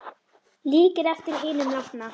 Líkir eftir hinum látna